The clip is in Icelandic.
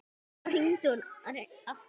Svo hringdi hann aftur.